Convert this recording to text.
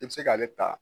I bɛ se k'ale ta